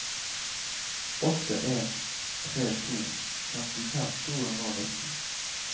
åtte en tre to femtifem to hundre og nitten